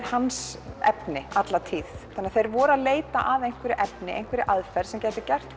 hans efni alla tíð þeir voru að leita að efni aðferð sem gæti gert